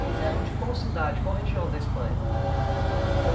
Eles eram de qual cidade, qual região da Espanha?